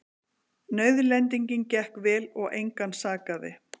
Nauðlendingin gekk vel og engan sakaði